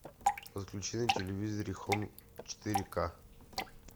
подключи на телевизоре хоум четыре ка